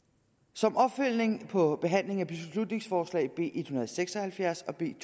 som opfølgning på behandling af beslutningsforslag b en hundrede og seks og halvfjerds og b to